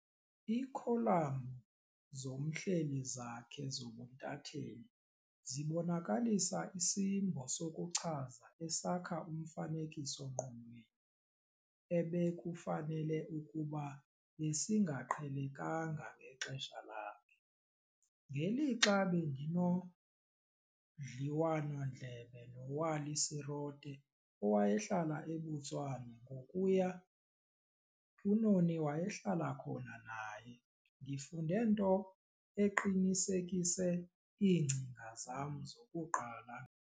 Iikholamu zomhleli zakhe zobuntathetheli zibonakalisa isimbo sokuchaza esakha umfanekiso-ngqonweni ebekufanele ukuba besingaqhelekanga ngexesha lakhe. Ngelixa bendinodliwano-ndlebe noWally Serote owayehlala eBotswana ngokuya uNoni wayehlala khona naye, ndifunde nto eqinisekise iingcinga zam zokuqala ngaye.